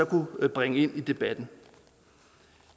kunne bringe ind i debatten